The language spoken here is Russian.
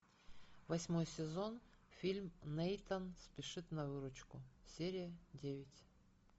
восьмой сезон фильм нейтан спешит на выручку серия девять